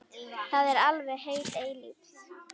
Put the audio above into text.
Það er alveg heil eilífð.